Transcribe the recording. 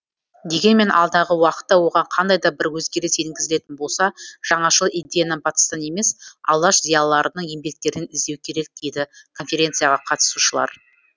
дегенмен алдағы уақытта оған қандай да бір өзгеріс енгізілетін болса жаңашыл идеяны батыстан емес алаш зиялыларының еңбектерінен іздеу керек дейді конференцияға қатысушылар